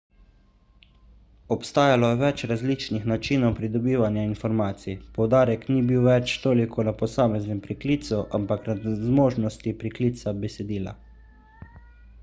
obstajalo je več različnih načinov pridobivanja informacij poudarek ni bil več toliko na posameznem priklicu ampak na zmožnosti priklica besedila